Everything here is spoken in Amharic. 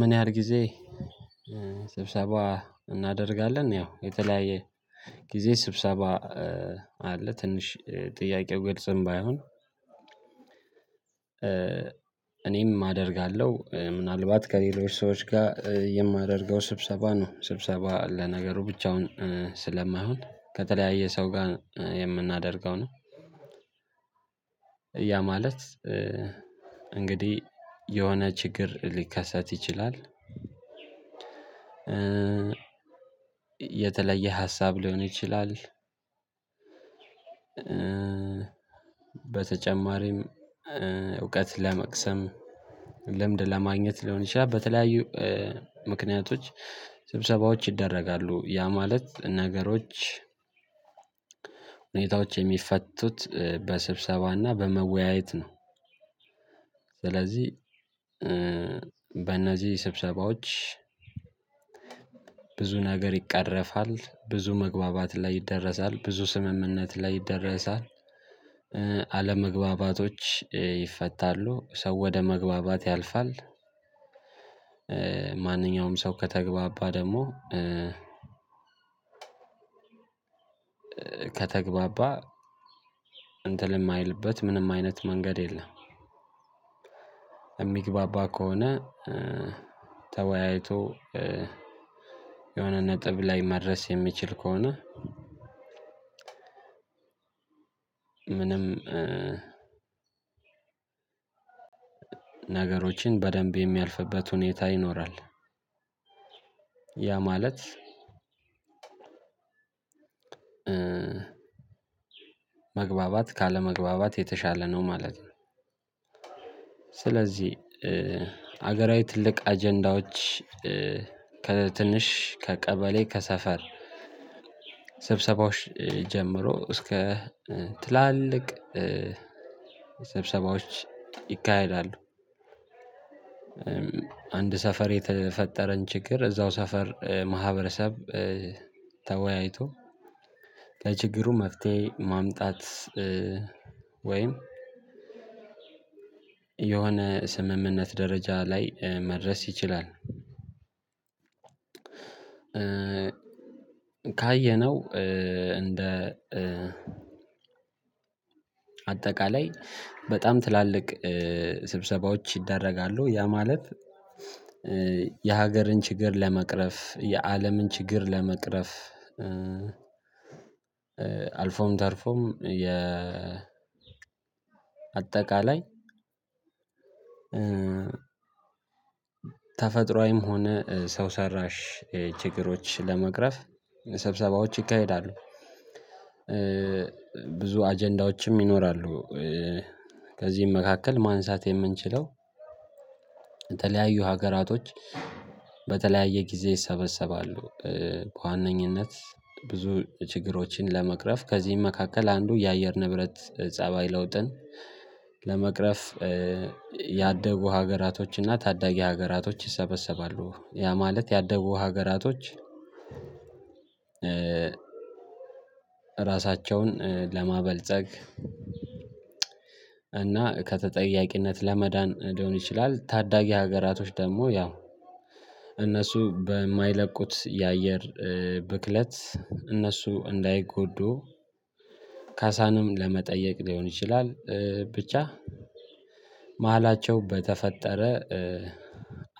ምን ያህል ጊዜ? ስብሰባ እናደርጋለን ያው የተለያየ ጊዜ ስብሰባ አለ ትንሽ ጥያቄው ግልጸም ባይሆን። እኔም አደርጋለሁ ምናልባት ከሌሎች ሰዎች ጋር የማደርገው ስብሰባ ነው ስብሰባ ለነገሩ ብቻውን ስለማይሆን ከተለያየ ሰው ጋር የምናደርገው ነው። ያ ማለት እንግዲህ የሆነ ችግር ሊከሰት ይችላል። የተለየ ሀሳብ ሊሆን ይችላል። በተጨማሪም እውቀት ለመቅሰም ልምድ ለማግኘት ሊሆን ይችላል። በተለያዩ ምክንያቶች ስብሰባዎች ይደረጋሉ ያ ማለት ነገሮች ሁኔታዎች የሚፈቱት በስብሰባና በመወያየት ነው። ስለዚህ በእነዚህ ስብሰባዎች ብዙ ነገር ይቀረፋል ብዙ መግባባት ላይ ይደረሳል ብዙ ስምምነት ላይ ይደረሳል። አለመግባባቶች ይፈታሉ ሰው ወደ መግባባት ያልፋል። ማንኛውም ሰው ከተግባባ ደግሞ ከተግባባ እንትን ማይልበት ምንም አይነት መንገድ የለም። እሚግባባ ከሆነ ተወያይቶ የሆነ ነጥብ ላይ መድረስ የሚችል ከሆነ። ምንም ነገሮችን በደንብ የሚያልፍበት ሁኔታ ይኖራል። ያ ማለት መግባባት ካለመግባባት የተሻለ ነው ማለት ነው። ስለዚህ ሀገራዊ ትልቅ አጀንዳዎች ከትንሽ ከቀበሌ ከሰፈር ስብሰባዎች ጀምሮ እስከ ትላልቅ ሰብሰባዎች ይካሄዳሉ። አንድ ሰፈር የተፈጠረን ችግር እዛው ሰፈር ማህበረሰብ ተወያይቶ ለችግሩ መፍትሄ ማምጣት ወይም የሆነ ስምምነት ደረጃ ላይ መድረስ ይችላል። ካየነው እንደ አጠቃላይ በጣም ትላልቅ ስብሰባዎች ይደረጋሉ ያ ማለት የሀገርን ችግር ለመቅረፍ የአለምን ችግር ለመቅረፍ። አልፎም ተርፎም የ አጠቃላይ ተፈጥሮአዊም ሆነ ሰው ሰራሽ ችግሮች ለመቅረፍ ሰብሰባዎች ይካሄዳሉ። ብዙ አጀንዳዎችም ይኖራሉ። ከዚህም መካከል ማንሳት የምንችለው የተለያዩ ሀገራቶች በተለያየ ጊዜ ይሰበሰባሉ በዋነኝነት ብዙ ችግሮችን ለመቅረፍ ከዚህም መካከል አንዱ የአየር ንብረት ፀባይ ለውጥን ለመቅረፍ ያደቡ ሀገራቶችና ታዳጊ ሀገራቶች ይሰበሰባሉ። ያ ማለት ያደጉ ሀገራቶች ራሳቸውን ለማበልጸግ እና ከተጠያቂነት ለመዳን ሊሆን ይችላል። ታዳጊ ሀገራቶች ደግሞ ያው እነሱ በማይለቁት የአየር ብክለት እነሱ እንዳይጎዱ ካሳንም ለመጠየቅ ሊሆን ይችላል። ብቻ መሃላቸው በተፈጠረ